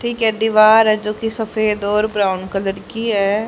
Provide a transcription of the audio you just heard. ठीक है दीवार है जो कि सफेद और ब्राउन कलर की है।